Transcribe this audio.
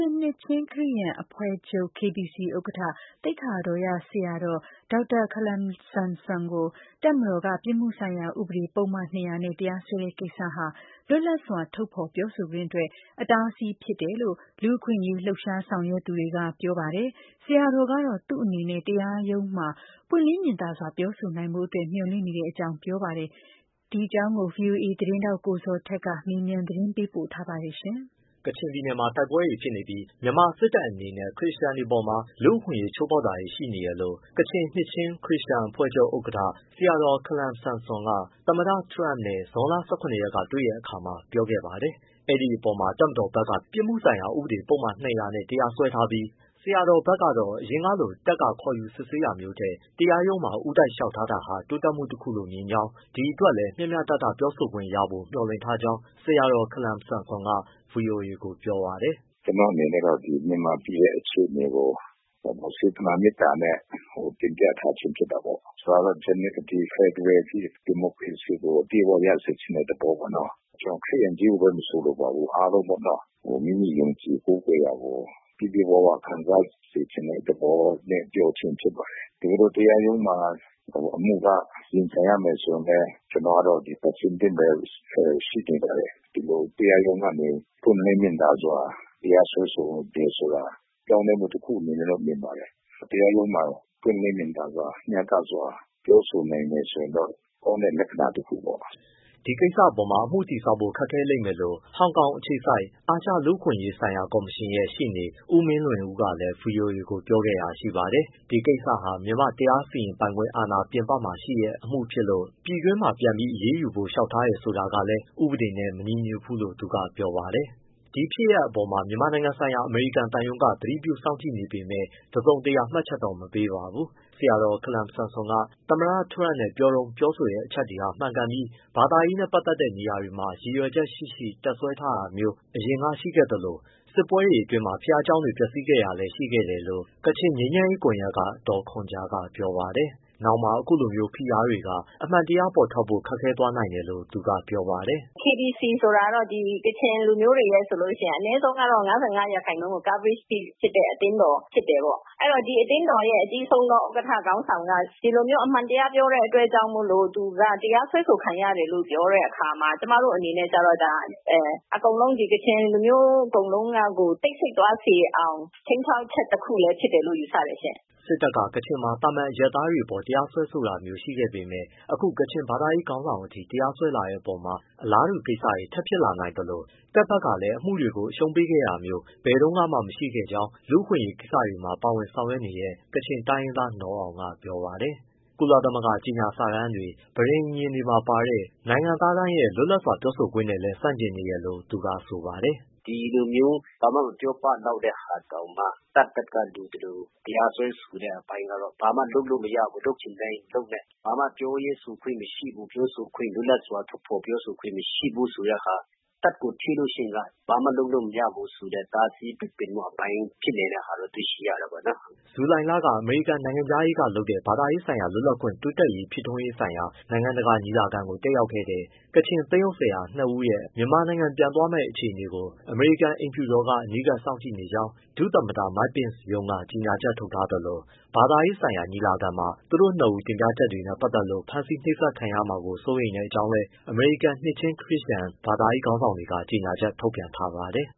င်နှစ်ချင်းခရစ်ယာန်အဖွဲ့ချုပ် KBC ဥက္ကဋ္ဌ သိက္ခာတော်ရဆရာတော် ဒေါက်တာ ခါလမ် ဆမ်ဆွန်ကို ပြစ်မှုဆိုင်ရာဥပဒေ ပုဒ်မ ၂၀၀ နဲ့ တပ်မတော်က ရုံးတော်ကို ဦးတိုက်လျှောက် ထားတာဟာ လွတ်လပ်စွာ ထုတ်ဖော်ပြောဆိုခွင့်အတွက် အတားအဆီးဖြစ်တယ်လို့ လူ့အခွင့်အရေးလှုပ်ရှား ဆောင်ရွက်သူတွေကပြောပါတယ်။ ဆရာတော်ကတော့ သူ့နေနဲ့ တရားရုံးမှာ ပွင့်လင်းမြင်သာစွာ ပြောဆိုနိုင်ဖို့အတွက်မျှော်လင့်နေတဲ့ အကြောင်းပြောပါ တယ်။ ဗွီအိုအေ သတင်းထောက် ကိုဇော်ထက် မေးမြန်းပေးပို့ထားပါတယ်။ ကချင်ပြည်နယ်မှာ တိုက်ပွဲတွေဖြစ်နေပြီး မြန်မာစစ်တပ်အနေနဲ့ ခရစ်ယာန်တွေအပေါ်မှာ လူ့အခွင့်အရေး ချိုးဖော်ကမှုတွေရှိနေတယ်လို့ ကချင်နှစ်ချင်း ခရစ်ယာန်အဖွဲ့ချုပ် ဥက္ကဋ္ဌ ဆရာတော် ခါလမ်ဆမ်ဆွန်က သမ္မတ Trump နဲ့ ဇွန်လ ၁၇ ရက်ကတွေ့တဲ့အခါမှာ ပြောခဲ့ပါတယ်။ အဲဒီအပေါ်မှာ တပ်မတော် ဘက်က ပြစ်မှုဆိုင်ရာဥပဒေ ပုဒ်မ ၂၀၀နဲ့ တရားစွဲထားပြီး ဆရာတော်ဘက်ကတော့ အရင်ကလို တပ်က ခေါ်ယူ စစ်ဆေးတာထက် တရားရုံးမှာ ဦးတိုက် လျှောက်ထားလာတာဟာ တိုးတက်မှုတခုလို့မြင်ကြောင်း၊ ဒီအတွက်လည်း မျှမျှတတပြောဆိုခွင့်ရဖို့မျှော်လင့်ထားကြောင်း ဆရာတော် ခါလမ်ဆမ်ဆွန်က ဗွီအိုအေကိုပြောပါတယ်။ “ကျနော့်အနေနဲ့ကတော့ မြန်မာပြည်ရဲ့ အခြေအနေကို စေတနာမေတ္တာနဲ့ တင်ပြထားခြင်း ဖြစ်တာပေါ့။ ဖက်ဒရယ်ဒီမိုကရေစီကို အပြည့်အဝရချင်တဲ့ သဘောပေါ့နော်။ ခရစ်ယာန်ကို ချည်း မဆိုလိုပါဘူး အားလုံးပေါ့နော မိမိယုံကြည်ကိုးကွယ်ရာကို ပြည့်ပြည့်ဝဝ ခံစားစေ ချင်တဲ့ သဘောနဲ့ ပြောခြင်းဖြစ်ပါတယ် တကယ်လို့တရားရုံးမှာ အမှုက ရင်ဆိုင်ရမယ် ဆိုရင်လည်း ကျနော်ကအဆင်သင့်ပဲ ရှိနေပါတယ်။ တရားရုံးကနေ ပွင့်လင်းမြင်သာစွာ တရားစွဲဆိုတယ်ဆိုတာ ပြောင်းလဲမှုတခုအနေနဲ့တော့ မြင်ပါတယ်။ တရားရုံးမှာ ပွင့်လင်းမြင်သာစွာ မျှတစွာ ပြောဆိုနိုင်မယ်ဆိုရင်တော့ ကောင်းတဲ့ လက္ခဏာတခုပေါ့။” ဒီကိစ္စပေါ်မှာ အမှုတည်ဆောက်ဖို့ ခက်ခဲလိမ့်မယ်လို့ ဟောင်ကောင်အခြေစိုက် အာရှလူ့ အခွင့်အရေးကော်မရှင်ရဲ့ ရှေ့နေ ဦးမင်းလွင်ဦးကလည်း ဗွီအိုအေကို ပြောခဲ့တာရှိပါတယ်။ ဒီကိစ္စဟာ မြန်မာ့တရား စီရင်ပိုင်ခွင့်အာဏာအပြင်မှာ ဖြစ်တဲ့အမှုကို ပြည်တွင်းမှာပြန်ပြီး အရေးယူဖို့ လျှောက်တယ်ဆိုတာ ကလည်း ဥပဒေနဲ့မညီညွှတ်ဘူးလို့ သူကပြောပါတယ်။ ဒီဖြစ်ရပ်အပေါ် မြန်မာနိုင်ငံဆိုင်ရာ အမေရိကန်သံရုံးက တစုံတရာ မှတ်ချက် မပေးပါဘူး။ ဆရာတော် ခါလမ်ဆမ်ဆွန် က သမ္မတထရမ့်နဲ့တွေ့တုန်း ပြောတဲ့အချက်တွေဟာ မှန်ကန်ပြီး ဘာသာရေးနဲ့ပတ်သက်တဲ့နေရာတွေမှာ ရည်ရွယ်ချက်ရှိရှိ တပ်စွဲထားတာမျိုး အရင်ကရှိခဲ့ သလို၊ စစ်ပွဲအတွင်း ဘုရားကျောင်းတွေ ပျက်စီးခဲ့တာလည်းရှိခဲ့ပါတယ်လို့ ကချင်ငြိမ်းချမ်းရေးကွန်ရက်က ဒေါ်ခွန်ဂျာက ပြောပါ တယ်။ နောင်မှာ အခုလိုမျိုး ဖိအားတွေက အမှန်တရား ပေါ်ထွက်ဖို့ ခက်ခဲသွားစေနိုင် တယ်လို့ သူကပြောတာပါ။ “KBC ဆိုတာကတော့ ကချင်လူမျိုးတွေ အနည်းဆုံး ၅၅ %လောက်တော့ coverage တဲ့ အသင်းတော် ဖြစ်တယ်ပေါ့။ အဲဒီတော့ ဒီအသင်းတော်ရဲ့ အကြီးဆုံးဥက္ကဋ္ဌ ခေါင်းဆောင်က ဒီလိုမျိုး အမှန်တရားပြောတဲ့အတွက် ကြောင့်မို့လို့ တရားစွဲဆိုခံရတယ်လို့ ပြောတဲ့အခါမှာ ကျမတို့ အနေနဲ့ကျတော့ ကချင်လူမျိုး အကုန်လုံးကကို တိတ်ဆိတ် သွားစေအောင် ခြိမ်းခြောက်ချက် တခုလည်းဖြစ်တယ်လို့ ယူဆတယ်ရှင့်။” စစ်တပ်က ကချင်မှာ သာမန်အရပ်သားတွေအပေါ် တရားစွဲတာမျိုးတွေရှိခဲ့ပေမဲ့ အခု ကချင် ဘာသာရေး ခေါင်းဆောင်ထိ တရားစွဲလာတဲ့အပေါ်မှာ အလားတူ ကိစ္စတွေ ထပ်ဖြစ်လာနိုင်သလို တပ်ဘက်ကလည်း အမှုတွေကို အရှုံးပေးခဲ့တာမျိုး ဘယ်တုန်းကမှ မရှိခဲ့တဲ့အကြောင်း လူ့အခွင့်အရေးကိစ္စတွေ ပါဝင်ဆောင်ရွက်နေတဲ့ ကချင်တိုင်းရင်းသား နော်အောင်က ပြောပါတယ်။ ကုလသမဂ္ဂကြေညာစာတမ်းတွေ၊ ပဋိညာဉ်စာချုပ်တွေမှာ ပါတဲ့ နိုင်ငံသားတိုင်းရဲ့လွတ်လာစွာပြောဆိုခွင့်နဲ့လည်း ဆန့်ကျင်နေတယ်လို့ သူက ဆိုပါတယ်။ “ ဒီလိုမျိုး ဘာမှမပြောပလောက်တဲ့ဟာတောင်မှ တပ်ဘက်က လိုသလိုတရားစွဲတဲ့ အပိုင်းကတော့ ဘာမှလုပ်လို့မရဘူး လုပ်ချင်တိုင်းလုပ်မယ့် ဘာမှ ပြောရေးဆိုခွင့်မရှိဘူး လွတ်လပ်စွာ ထုတ်ဖော်ပြောဆိုခွင့်မရှိဘူးဆိုတဲ့ဟာ၊ တပ်ကိုထိလို့ရှိရင် ဘာမှလုပ်လို့ မရဘူးဆိုတဲ့ တားဆီးပိတ်ပင်မှုဖြစ်နေတဲ့ ဟာတော့တွေ့ရှိရတယ်ပေါ့နော်။” ဇူလိုင်လ က အမေရိကန်နိုင်ငံခြားရေးဌာနကလုပ်တဲ့ ဘာသာရေးလွတ်လပ်ခွင့် တိုးတက် ဖြစ်ထွန်းရေးဆိုင်ရာ နိုင်ငံတကာညီလာခံကို တက်ရောက်ခဲ့တဲ့ ကချင်သင်းအုပ် ဆရာ နှစ်ဦးရဲ့ မြန်မာနိုင်ငံ ပြန်သွားမယ့် အခြေအနေကို အမေရိကန် အိမ်ဖြူတော်က အနီးကပ်စောင့်ကြည့်နေကြောင်း ဒုသမ္မတ Mike Pence ရုံးက ကြေညာချက်ထုတ် ထားသလို ဘာသာရေးညီလာခံမှာ သူတို့နှစ်ဦးတင်ပြချက်တွေနဲ့ ပတ်သက်လို့ ဖမ်းဆီးနှိပ်စက်ခံရမှာ စိုးရိမ်ကြောင်းလည်း အမေရိကန်က နှစ်ချင်းခရစ်ယာန် ဘာသာရေးခေါင်းဆောင်တွေ ကြေညာချက်ထုတ်ပြန်ထားပါတယ်